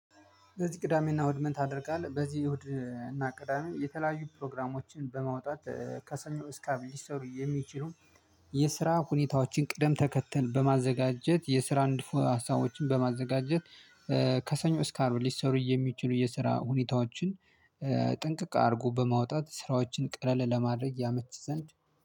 በዚህ ቅዳሜና እሁድ ምን አድርጋለሁ በዚህ እሁድ እና ቅዳሜ የተለያዩ ፕሮግራሞችን በማውጣት ከሰኞ እስከ አርብ ሊሰሩ የሚችሉ የስራ ሁኔታዎችን ቅደም ተከተል በማዘጋጀት የስራ አንድ ሀሳቦችን በማዘጋጀት ከሰኞ እን ሊሰሩ የሚችሉ የስራ ሁኔታዎችን ጥንቅቅ አድርጎ በማውጣት ስራዎችን ቀለል ለማድረግ ያመች ዘንድ።